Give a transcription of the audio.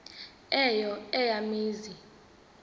eyo eya mizi